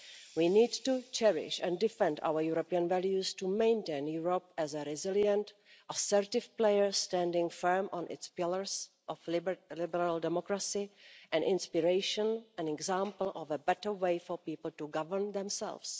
We need to cherish and defend our European values, to maintain Europe as a resilient, assertive player standing firm on its pillars of liberal democracy, an inspiration and an example of a better way for people to govern themselves.